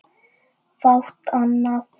Fátt annað.